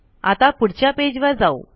आता पुढच्या पेज वर जाऊ